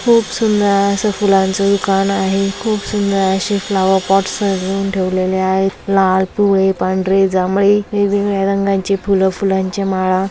खूप सुंदर आस फुलांच दुकान आहे खूप सुंदर अशी फ्लॉवर पॉट्स सजवून ठेवलेले आहे लाल पिवळे पांढरे जांभळे वेगवेगळ्या रंगाची फुल फुलाच्या माळा--